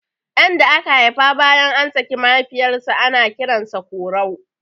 Ɗan da aka haifa bayan an saki mahaifiyar sa ana kiran sa Korau